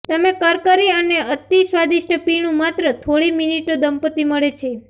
તમે કરકરી અને અતિ સ્વાદિષ્ટ પીણું માત્ર થોડી મિનિટો દંપતિ મળે છે